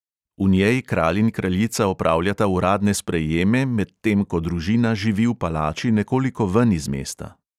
V njej kralj in kraljica opravljata uradne sprejeme, medtem ko družina živi v palači nekoliko ven iz mesta.